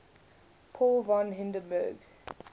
paul von hindenburg